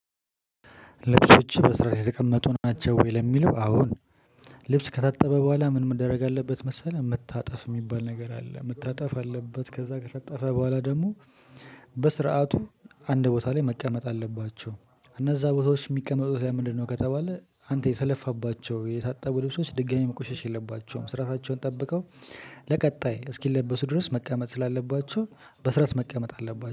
ልብሶችህ በስአት የተቀመጡ ናቸው ወይ? ለሚለው አወ ነው። ልብስ ከታጠበ በኋላ ምን መደረግ አለበት መሰለህ? መታጠፍ የሚባል ነገር አለ። መታጠፍ አለበት ከዛ ከታጠፈ በኋላ ደግሞ በስርዓቱ አንድ ቦታ ላይ መቀመጥ አለባቸው። እነዛ ቦታዎች የሚቀመጡት ለምንድነው? ከተባለ አንተ የተለፋባቸው የታጠቡ ልብሶች ድጋሚ መቆሸሽ የለባቸውም። ስራቸውን ጠብቀው ለቀጣይ እስኪለበሱ ድረስ መቀመጥ ስላለባቸው በስራስ መቀመጥ አለባቸው